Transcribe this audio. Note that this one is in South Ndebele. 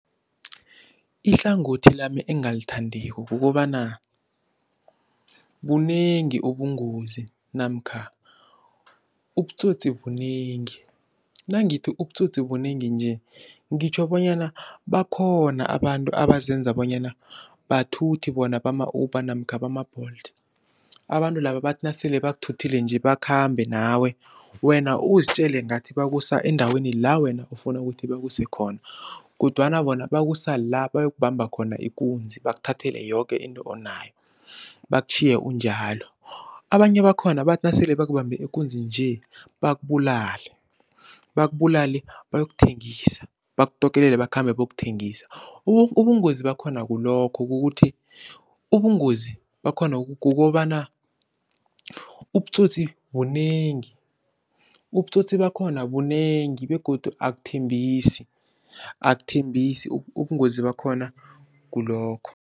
Ihlangothi lami engingalithandiko kukobana, bunengi ubungozi namkha ubutsotsi bunengi. Nangithi ubutsotsi bunengi nje ngitjho bonyana bakhona abantu abazenza bonyana bathuthi bona bama-Uber namkha bama-Bolt. Abantu laba bathi nasele bakuthuthile nje bakhambe nawe wena uzitjele ngathi bakusa endaweni la wena ufuna ukuthi bakuse khona kodwana bona bakusa la bayokubamba khona ikunzi bakuthathele yoke into onayo bakutjhiye unjalo. Abanye bakhona bathi nasele bakubambe ikunzi nje bakubulale, bakubulale bayokuthengisa bakutokelele bakhambe bayokuthengisa. Ubungozi bakhona kulokho kukuthi ubungozi bakhona kukobana ubutsotsi bunengi, ubutsotsi bakhona bunengi begodu akuthembisi, akuthembisa ubungozi bakhona kulokho.